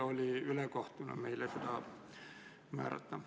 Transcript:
Oli ülekohtune meile seda omistada.